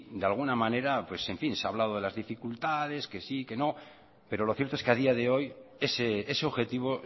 de alguna manera se ha hablado de las dificultades que sí que no pero lo cierto es que a día de hoy ese objetivo